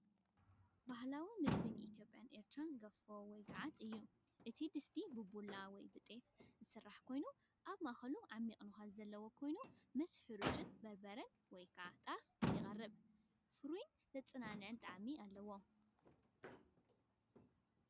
ባህላዊ ምግቢ ኢትዮጵያን ኤርትራን ገፎ ወይ ገዓት እዩ። እቲ ድስቲ ብቡላ ወይ ቴፍ ጣፍ ዝስራሕ ኮይኑ፡ ኣብ ማእከሉ ዓሚቝ ነዃል ዘለዎ ኮይኑ ምስ ሓርጭን በርበረን (ወይ ጣፍ) ይቐርብ። ፍሩይን ዘጸናንዕን ጣዕሚ ኣለዎ።